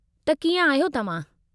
त कीअं आहियो अव्हां?